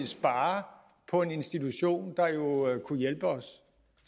sparer på en institution der jo kunne hjælpe os